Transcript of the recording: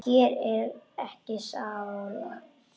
Hér er ekki sála.